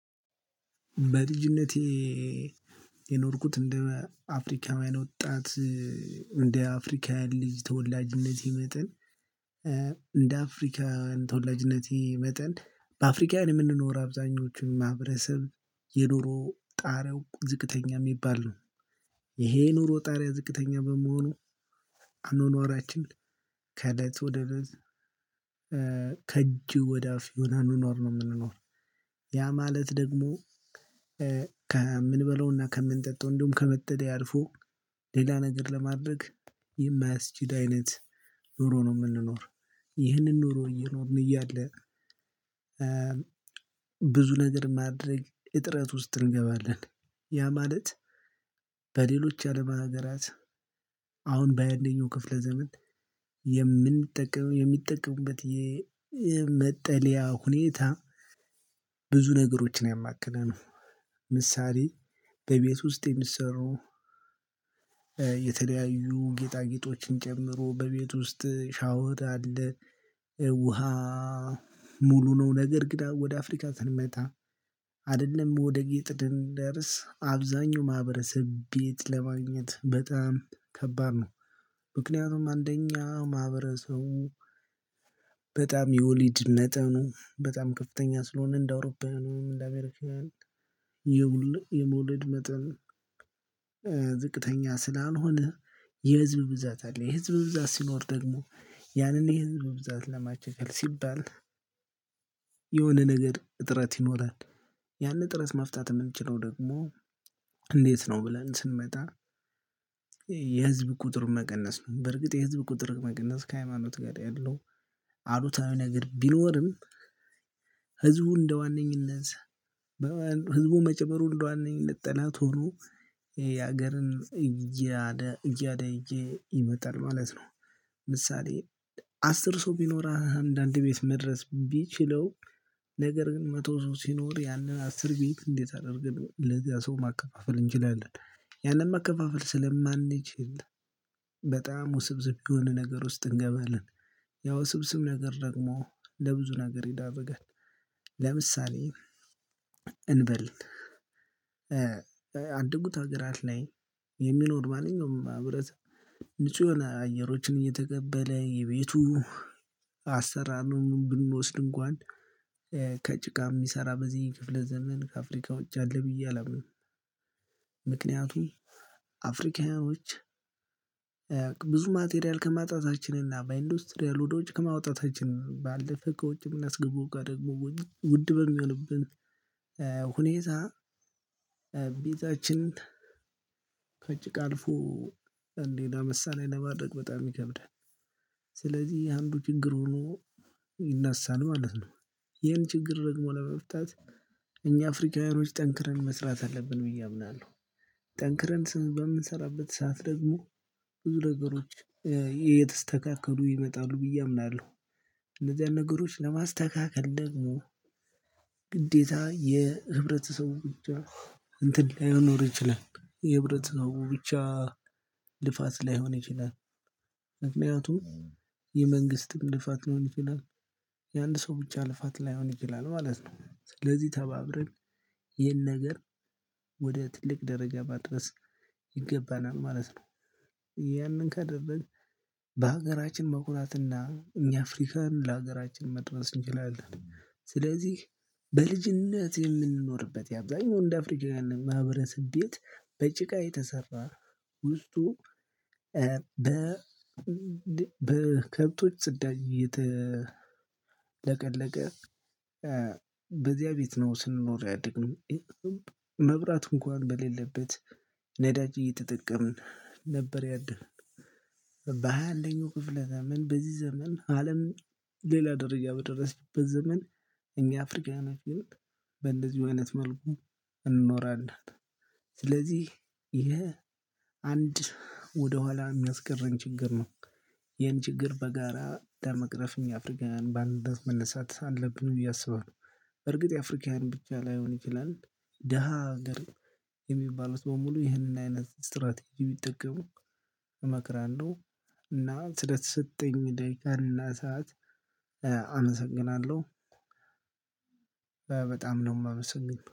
በልጅነቴ የኖርኩት እንደ አፍሪካዊያን ወጣት እንደ አፍሪካውያን ልጅ ተወላጅነቴ መጠን እንደ አፍሪካውያን ተወላጅነቴ መጠን በአፍሪካውያን የምንኖር አብዛኞቹን ማህበረሰብ የኑሮ ጣረው ዝቅተኛ የሚባል ነው። ይሄ ኑሮ ጣሪያ ዝቅተኛ በመሆኑ አኗኗራችን ከእለት ወደ እለት ከእጅ ወደ አፍ ነሆነ አናናር ነው የምንኖር። ያ ማለት ደግሞ ከምንበለውና ከምንጠጣው እንደውም ከመጠልያ አልፎ ሌላ ነገር ለማድረግ የማያስችል አይነት ኑሮ ነው የምንኖር። ይህንን ኑሮ እየኖርን እያለ ብዙ ነገር ማድረግ እጥረት ውስጥ እንገባለን። ያ ማለት በሌሎች ያዓለም ሀገራት አሁን በ ሃያ አንደኛው ክፍለ ዘመን የምንጠቀመው የሚጠቀምበት የመጠለያ ሁኔታ ብዙ ነገሮችን ያማከለ ነው። ምሳሌ በቤት ውስጥ የሚሰሩ የተለያዩ ጌጣጌጦችን ጨምሮ በቤት ውስጥ ሻወር አለ ውሃ ሙሉ ነው ነገር ግን ወደ አፍሪካ ስንመጣ አይደለም ወደ ጌጥድን ደርስ አብዛኛው ማህበረሰብ ቤት ለማግኘት በጣም ከባድ ነው። ምክንያቱም አንደኛ ማህበረሰቡ በጣም የወሊድ መጠኑ በጣም ከፍተኛ ስለሆነ እንደ አውሮፓውያ እንደ አሜሪካን የመውለድ መጠን ዝቅተኛ ስላልሆነ የህዝብ ብዛት አለ የህዝብ ብዛት ሲኖር ደግሞ ያንን የህዝብ ብዛት ለማቻቻል ሲባል የሆነ ነገር እጥረት ይኖራል። ያንን ጥረት ማፍታት የምንችለው ደግሞ እንዴት ነው ብለን ስንመጣ የህዝብ ቁጥር መቀነስ ነው በርግጥ የህዝብ ቁጥር መቀነስ ከሃይማኖት ጋር ያለው አሉታዊ ነገር ቢኖርም ህዝቡ እንደዋነኝነት ህዝቡ መጨመር ሁሉ አንደ ዋነኝነት ጠላት ሆኖ የሀገርን እያዳየ ይመጣል ማለት ነው። ምሳሌ አስር ሰው ቢኖር አንዳንድ ቤት መድረስ ቢችለው ነገር ግን መቶ ሶስት ሲኖር ያንን አስር ቤት እንዴት አደርግ ለዚያ ሰው ማከፋፈል እንችላለን ያንን መከፋፈል ስለማንችል በጣም ውስብስብ የሆነ ነገር ውስጥ እንገባለን። ያው ውስብስብ ነገር ደግሞ ለብዙ ነገር ይዳርጋል። ለምሳሌ እንበል በአደጉት ሀገራት ላይ የሚኖር ማንኛውም ማህበረሰብ ንጹህ የሆነ አየሮችን እየተቀበለ የቤቱ አሰራሩን ብንወስድ እንኳን ከጭቃ የሚሰራ በዚህ ክፍለ ዘመን ከአፍሪካ ውጪ አለ ብዬ አላምንም። ምክንያቱም አፍሪካውያኖች ብዙ ማቴሪያል ከማጣታችንና በኢንዱስትሪያል ወዶች ከማውጣታችን ባለፈ ከውጭ የምናስገቡ ጋር ደግሞ ውድ በሚሆንብን ሁኔታ ቢታችን ከጭቃ አልፎ እንዴት ለምሳሌ ለማድረግ በጣም ይከብዳል። ስለዚህ ይሄ አንዱ ችግር ሆኖ ይነሳን ማለት ነው። ይሄን ችግር ደግሞ ለመፍታት እኛ አፍሪካውያን ጠንክረን መስራት አለብን ብዬ አምናለሁ። ጠንክረን በምንሰራበት ሰዓት ደግሞ ብዙ ነገሮች የተስተካከሉ ይመጣሉ ብዬ አምናለሁ። እንደዚህ አይነት ነገሮች ለማስተካከል ደግሞ ግዴታ የህብረተሰቡ ብቻ እንትን ላይኖር ይችላል የህብረት ነው ብቻ ልፋት ላይሆን ይችላል። ምክንያቱም የመንግስት ልፋት ሊሆን ይችላል የአንድ ሰው ብቻ ልፋት ላይሆን ይችላል ማለት ነው። ስለዚህ ተባብረን ይሄን ነገር ወደ ትልቅ ደረጃ ማድበስ ይገባናል ማለት ነው። ያንን ካደረግን በሀገራችን መኩናትና እኛ አፍሪካን ለሀገራችን መድረስ እንችላለን። ስለዚህ በልጅነት የምንኖርበት የአብዛኛው እንደ አፍሪካውያን ማህበረሰብ ቤት በጭቃ የተሰራ ውስጡ በ በከብቶች ስዳር እየተለቀለቀ በዚያ ቤት ነው ስንኖር ያደግንም መብራት እንኳን በሌለበት ነዳጅ እየተጠቀምን ነበር። ያደርን በሃያ አንደኛው ክፍለ ዘመን በዚህ ዘመን አለም ሌላ ደረጃ በደረሰበት ዘመን እኛ አፍሪካውያን ግን በእንደዚሁ አይነት መልኩ እንኖራለን። ስለዚህ ይሄ አንድ ወደኋላ የሚያስቀረን ችግር ነው። ይሄን ችግር በጋራ ለመቅረፍ እኛ አፍሪካውያን በአንድ እምነት መነሳት አለብን ብዬ አስባለሁ። በርግጥ የአፍሪካን ብቻ ላይሆን ይችላል ደሃ ሀገር የሚባሉት በሙሉ ይህንን አይነት ስትራቴጂ ቢጠቀሙ እመክራለው። እና ስለ ተሰጠኝ ደቂቃ ሰዓት አመሰግናለሁ። በጣም ነው የማመሰግነው